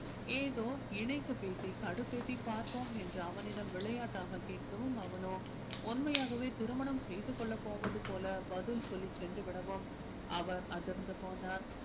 ஏதோ இணைத்து பேசி கடுப்பேத்தி பார்ப்போம் என்று அவனிடம் விளையாட்டாக கேட்கவும் அவனோ உண்மையாகவே திருமணம் செய்து கொள்ள போவது போல பதில் சொல்லி சென்று விடவும் அவர் அதிர்ந்து போனார்